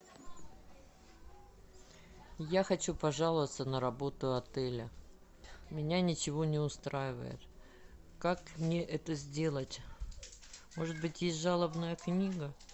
я хочу пожаловаться на работу отеля меня ничего не устраивает как мне это сделать может быть есть жалобная книга